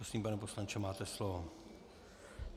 Prosím, pane poslanče, máte slovo.